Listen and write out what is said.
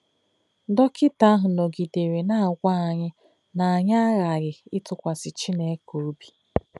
Dọkịta ahụ nọgidere na-agwa anyị na anyị aghaghị ịtụkwasị Chineke obi